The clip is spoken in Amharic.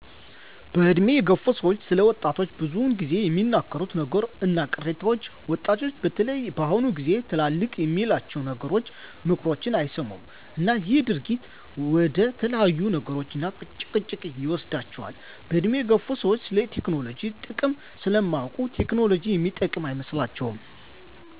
በእድሜ የገፉ ሰዎች ስለ ወጣቶች ብዙ ግዜ የሚናገሩት ነገሩች እና ቅሬታዎች ወጣቶች በተለይ በአሁኑ ግዜ ትላልቅ የሚላቸውን ነገሮችን ምክሮችን አይሰሙም እና ይሄ ድርጊት ወደተለያዩ ነገሮች እና ግጭቶች ይወስዷቸዋል። በእድሜ የገፉ ሰዎች ስለቴክኖሎጂ ጥቅም ስለማያውቁ ቴክኖሎጂ የሚጠቅም አይመስላቸውም